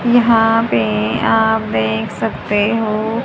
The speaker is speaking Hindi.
यहां पे आप देख सकते हो।